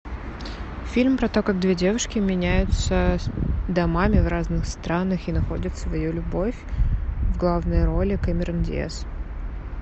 фильм про то как две девушки меняются домами в разных странах и находят свою любовь в главной роли кэмерон диаз